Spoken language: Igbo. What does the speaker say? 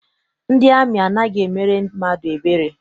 Ndị amị anaghị emere mmadụ ebere.